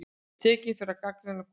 Tekinn fyrir að gagnrýna konung